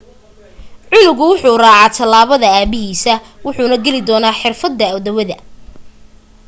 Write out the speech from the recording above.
canugu wuxuu raacaa talaabada aabahiisa wuxuuna geli doonaa xirfada dawada